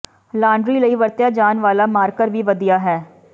laundry ਲਈ ਵਰਤਿਆ ਜਾਣ ਵਾਲਾ ਮਾਰਕਰ ਵੀ ਵਧੀਆ ਹੈ